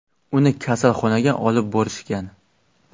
Uni kasalxonaga olib borishgan.